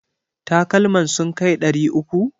Takalman sun kai ɗari uku?